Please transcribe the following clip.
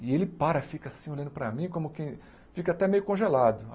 E ele para, fica assim olhando para mim, como quem... Fica até meio congelado.